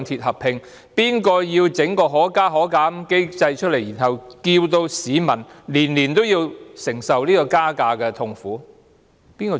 誰設立可加可減機制，令市民每年承受車費增加的痛苦？